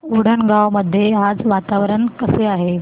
उंडणगांव मध्ये आज वातावरण कसे आहे